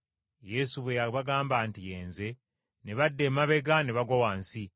Yesu bwe yabagamba nti, “Ye Nze” ne badda emabega ne bagwa wansi.